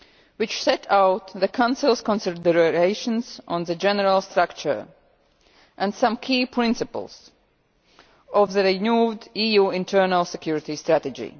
which set out the Council's considerations on the general structure and some key principles of the renewed EU internal security strategy.